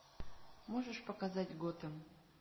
можешь показать готэм